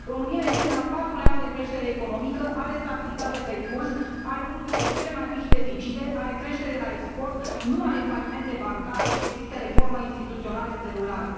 România este în al patrulea an de creștere economică, are stabilitate pe curs, are unul dintre cele mai mici deficite, are creștere la export, nu are falimente bancare și există reforme instituționale în derulare.